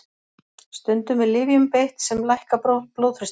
Stundum er lyfjum beitt sem lækka blóðþrýsting.